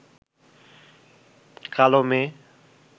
কালো মেয়ে